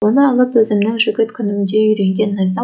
оны алып өзімнің жігіт күнімде үйренген найза